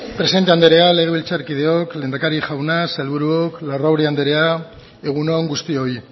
presidente andrea legebiltzarkideok lehendakari jauna sailburuok larrauri andrea egun on guztioi